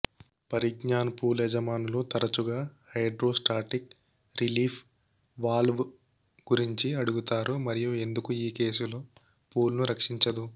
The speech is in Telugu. పరిజ్ఞాన పూల్ యజమానులు తరచుగా హైడ్రోస్టాటిక్ రిలీఫ్ వాల్వ్ గురించి అడుగుతారు మరియు ఎందుకు ఈ కేసులో పూల్ను రక్షించదు